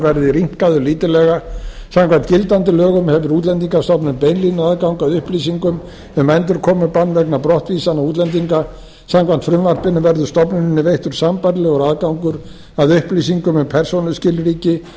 verði rýmkaður lítillega samkvæmt gildandi lögum hefur útlendingastofnun beinlínuaðgang að upplýsingum um endurkomubann vegna brottvísunar útlendinga samkvæmt frumvarpinu verður stofnuninni veittur sambærilegur aðgangur að upplýsingum um persónuskilríki